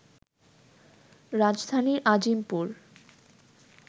রাজধানীর আজিমপুর